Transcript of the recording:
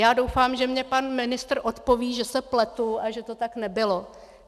Já doufám, že mě pan ministr odpoví, že se pletu a že to tak nebylo.